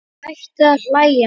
Hætti að hlæja.